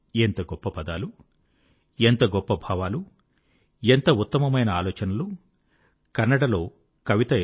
ఎంత గొప్ప పదాలు ఎంత గొప్ప భావాలు ఎంత ఉత్తమమైన ఆలోచనలు కన్నడలో కవిత ఇలా ఉంది